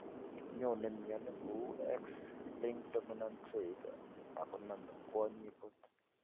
Nyone mioni kou X linked dominant trait, akoname kwonyik kot.